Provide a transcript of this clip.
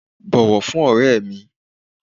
bọwọ fún ore mi!